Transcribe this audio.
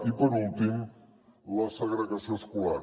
i per últim la segregació escolar